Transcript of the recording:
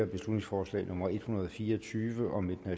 beslutningsforslag nummer b en hundrede og fire og tyve